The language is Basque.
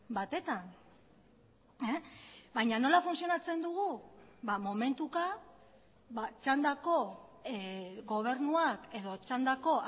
batetan baina nola funtzionatzen dugu momentuka txandako gobernuak edo txandako